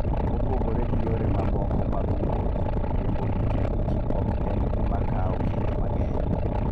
Mopogore gi yore mamoko mag wuoth, riembo pikipiki ok en gima kawo kinde mang'eny.